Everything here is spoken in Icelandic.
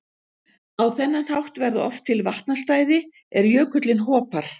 Á þennan hátt verða oft til vatnastæði er jökullinn hopar.